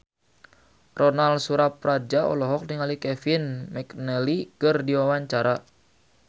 Ronal Surapradja olohok ningali Kevin McNally keur diwawancara